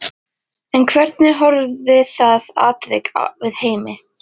En hvernig horfði það atvik við Heimi?